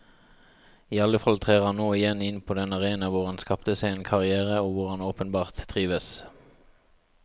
I alle fall trer han nå igjen inn på den arena hvor han skapte seg en karrière og hvor han åpenbart trives.